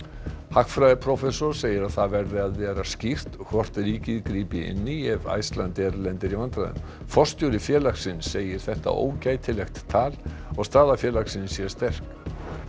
hagfræðiprófessor segir að það verði að vera skýrt hvort ríkið grípi inn í ef Icelandair lendir í vandræðum forstjóri félagsins segir þetta ógætilegt tal og staða félagsins sé sterk